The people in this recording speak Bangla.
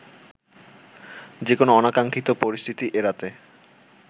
যেকোনো অনাকাঙ্ক্ষিত পরিস্থিতি এড়াতে